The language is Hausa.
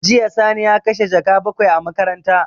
Jiya Sani ya kashe jaka bakwai a makaranta.